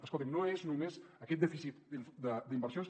escolti’m no és només aquest dèficit d’inversions